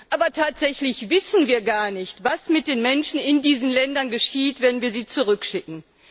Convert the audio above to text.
Aber tatsächlich wissen wir gar nicht, was mit den Menschen in diesen Ländern geschieht, wenn wir sie zurückschicken.